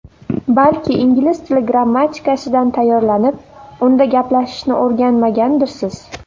Balki ingliz tili grammatikasidan tayyorlanib, unda gaplashishni o‘rganmagandirsiz?